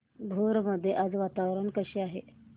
भोर मध्ये आज वातावरण कसे आहे